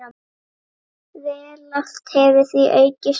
Veltan hefur því aukist mikið.